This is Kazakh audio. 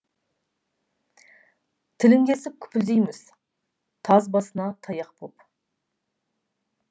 тілін кесіп күпілдейміз таз басына таяқ боп